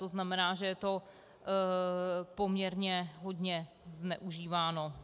To znamená, že je to poměrně hodně zneužíváno.